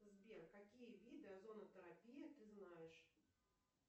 сбер какие виды озонотерапии ты знаешь